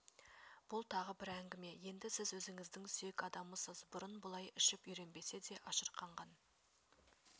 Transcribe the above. бұл тағы бір әңгіме енді сіз өзіңіздің сүйек адамысыз бұрын бұлай ішіп үйренбесе де ашырқанған